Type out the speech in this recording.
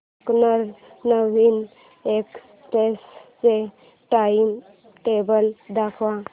Deccan queen express चे timetable दाखव